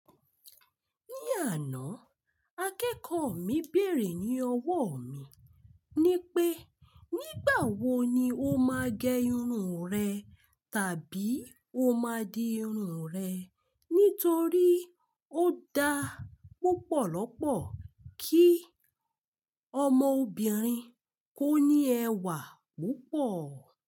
Ní àná, akẹ́kọ̀ọ́ mi bèrè ní ọwọ́ mi ní pé, nígbà wo ni o máa gẹ irun rẹ tàbí o máa di irun rẹ nítorí ó da púpọ̀lọpọ̀ kí ọmọ obìnrin kó ní ẹwà púpọ̀.